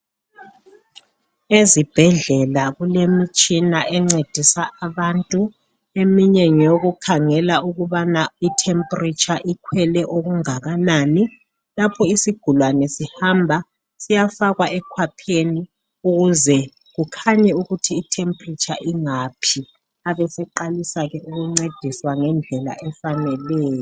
Ezibhedlela kulemitshina encedisa abantu eminye ngeyokukhangela ukubana temperature ikhwele okungakanani lapho isgulani sihamba siyafakwa ekhwapheni ukuze kukhanye ukuthi temperature ingaphi abeseqalisa ukungcediswa ngendlela efaneleyo